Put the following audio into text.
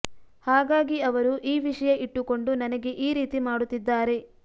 ಹಾಗಾಗಿ ಅವರು ಈ ವಿಷಯ ಇಟ್ಟುಕೊಂಡು ನನಗೆ ಈ ರೀತಿ ಮಾಡುತ್ತಿದ್ದಾರೆ